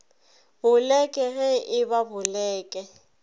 boleke ge e ba boleke